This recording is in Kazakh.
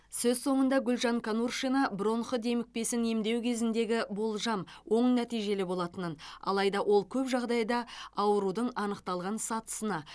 сөз соңында гүлжан конуршина бронх демікпесін емдеу кезіндегі болжам оң нәтижелі болатынын алайда ол көп жағдайда аурудың анықталған сатысына